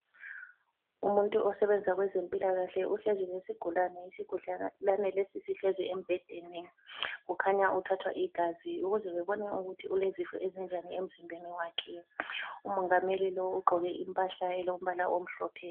Umuntu osebenza kwezempilakahle, uhlezi lesigulane, isigulane lesi sihlezi embhedeni. Kukhanya uthathwa igazi ukuze babone ukuthi ulezifo ezinjani emzimbeni wakhe. Umongameli lo ugqoke impahla elombala omhlophe.